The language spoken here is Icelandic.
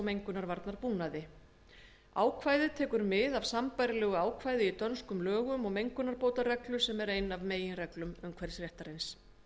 mengunarvarnabúnaði ákvæðið tekur mið af sambærilegu ákvæði í dönskum lögum og mengunarbótareglu sem er ein af meginreglum umhverfisréttarins